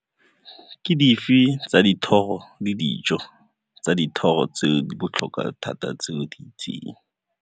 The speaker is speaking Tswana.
Ke dife tsa dithoro le dijo tsa dithoro tse di botlhokwa thata tse o di itseng.